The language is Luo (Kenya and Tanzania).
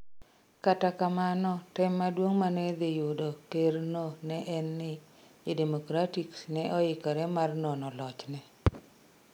Kata kamano, tem maduong' ma ne dhi yudo kerno ne en ni, Jo-Democrats ne oikore mar nono lochne